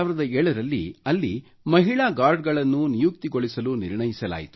2007 ರಲ್ಲಿ ಅಲ್ಲಿ ಮಹಿಳಾ ಗಾರ್ಡ್ಸ್ ಗಳನ್ನು ನಿಯುಕ್ತಿಗೊಳಿಸಲು ನಿರ್ಣಸಲಾಯಿತು